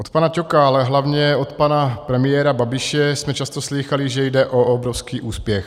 Od pana Ťoka, ale hlavně od pana premiéra Babiše jsme často slýchali, že jde o obrovský úspěch.